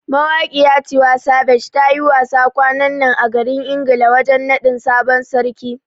Mawaƙiya Tiwa savage ta yi wasa kwanan nan a garin Ingila wajen nadin sabon sarki.